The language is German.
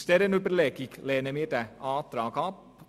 Aus dieser Überlegung lehnen wir die beiden Anträge ab.